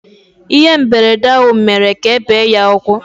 Ihe mberede ahụ mere ka ebe ya ụkwụ